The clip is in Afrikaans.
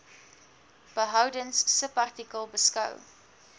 behoudens subartikel beskou